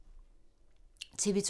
TV 2